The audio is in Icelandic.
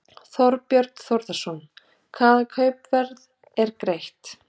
Þorbjörn Þórðarson: Hvaða kaupverð er greitt?